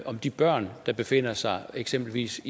om de børn der befinder sig eksempelvis